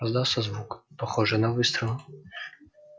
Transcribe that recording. раздался звук похожий на выстрел